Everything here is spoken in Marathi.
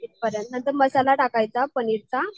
नंतर मसाला टाकायचा पनीर चा